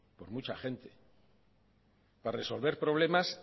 por mucha gente para resolver problemas